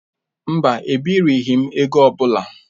Mba, ebirighi m ego ọ bụla